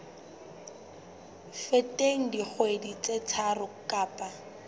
feteng dikgwedi tse tharo kapa